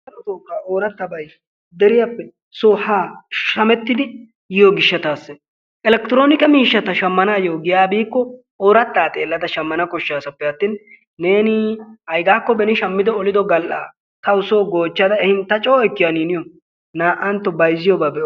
darotoo ooratabay deriyappe soo haa shamettidi yiyo gishataassi elekitoroomikke miishata shamanaayoo giyaa biikko oorataa xeelada shamana koshasappe atin neeni aygaakko beni olido gal'aaa tawu soo goochada ehin ta coo ekkiyana niyo naa'anto bayzziyoba be'o..